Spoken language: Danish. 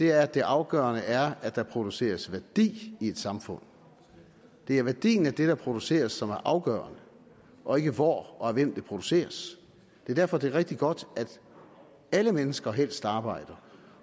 er at det afgørende er at der produceres værdi i et samfund det er værdien af det der produceres som er afgørende og ikke hvor og af hvem det produceres det er derfor det er rigtig godt at alle mennesker helst arbejder